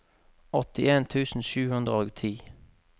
åttien tusen sju hundre og ti